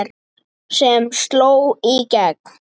sem sló í gegn.